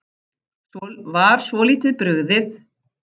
Var svolítið brugðið